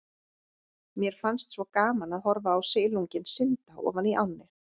Mér fannst svo gaman að horfa á silunginn synda ofan í ánni.